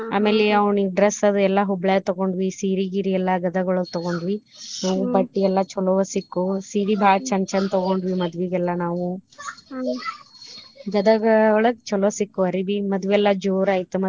ಆಮೇಲೆ ಅವ್ನಿಗ್ dress ಅದು ಎಲ್ಲಾ ಹುಬ್ಳ್ಯಾಗ್ ತಗೊಂಡ್ವಿ ಸೀರಿ ಗಿರೀ ಎಲ್ಲಾ ಗದಗೋಳಗ ತಗೊಂಡ್ವಿ ಬಟ್ಟಿ ಎಲ್ಲಾ ಚೋಲೊವ ಸಿಕ್ಕು ಸೀರಿ ಬಾಳ್ ಚಂದ ಚಂದ ತಗೊಂಡ್ವಿ ಮದ್ವಿಗೆಲ್ಲಾ ನಾವು ಗದಗ ಒಳಗ ಚೊಲೊ ಸಿಕ್ಕು ಅರಿಬಿ ಮದ್ವಿ ಎಲ್ಲಾ ಜೋರ ಆಯ್ತು.